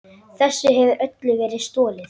Þessu hefur öllu verið stolið!